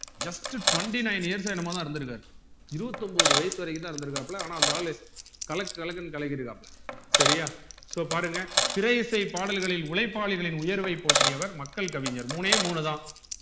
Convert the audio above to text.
just twenty nine years யே என்னமோ தான் இருந்துருக்காரு இருபத்துதொன்பது வயசு வரைக்கும் தான் இருந்துருக்காப்புல ஆனா அந்த ஆளு கலக்கு கலக்குன்னு கலக்கிருக்காப்புல செரியா so பாருங்க திரை இசை பாடல்களில் உழைப்பாளிகளின் உயர்வை போற்றியவர் மக்கள் கவிஞர் மூணே மூணுதான்